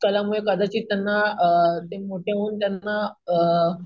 कला मुळे कदाचित त्यांना अम ते मोठे होऊन त्यांना अम